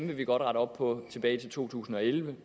vil vi godt rette op på tilbage til to tusind og elleve